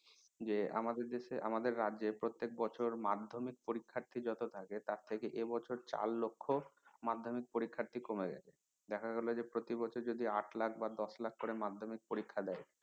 যে আমাদের দেশের আমাদের রাজ্যের প্রত্যেক বছর মাধ্যমিক পরীক্ষার্থী যত থাকে তার থেকে এবছর চার লক্ষ মাধ্যমিক পরীক্ষার্থী কমে গেছে দেখা গেল যে প্রতি বছর যদি আট লাখ বা দশ লক্ষ মাধ্যমিক পরীক্ষা দেয়